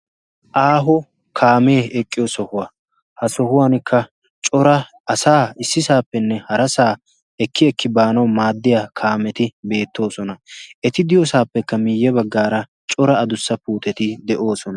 aaho kaamee eqqiyo sohuwaa ha sohuwankka cora asaa issisaappenne hara saa ekki ekki baanau maaddiya kaameti beettoosona eti diyoosaappekka miiyye baggaara cora adussa puuteti de7oosona.